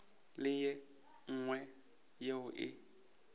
le ye nngwe yeo e